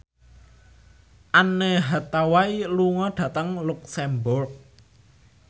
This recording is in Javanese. Anne Hathaway lunga dhateng luxemburg